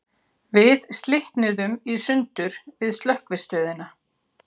Við slitnuðum í sundur við Slökkvistöðina.